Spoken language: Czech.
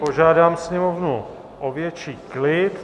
Požádám sněmovnu o větší klid.